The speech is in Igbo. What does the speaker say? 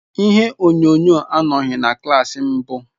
Ihe onyonyo anọghị na klas mbụ.